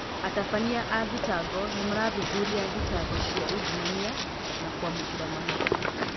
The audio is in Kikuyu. Atabania a thitango nĩmarathuthuria thitango cia ungumania na kwamũkĩra mahaki.